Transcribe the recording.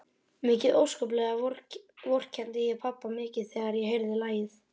Mikið óskaplega vorkenndi ég pabba mikið þegar ég heyrði lagið.